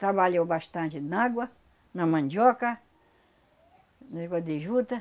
Trabalhou bastante na água, na mandioca, negócio de juta.